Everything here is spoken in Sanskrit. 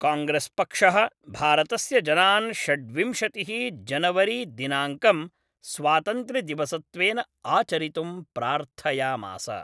काङ्ग्रेस्पक्षः भारतस्य जनान् षड्विंशतिः जनवरी दिनाङ्कं स्वातन्त्र्यदिवसत्वेन आचरितुं प्रार्थयामास।